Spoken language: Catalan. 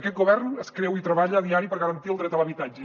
aquest govern es creu i treballa a diari per garantir el dret a l’habitatge